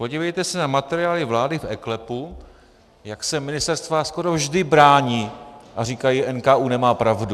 Podívejte se na materiály vlády v eKLEPu, jak se ministerstva skoro vždy brání a říkají: NKÚ nemá pravdu.